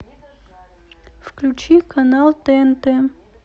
включи канал тнт